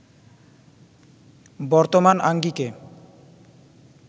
বর্তমান আঙ্গিকে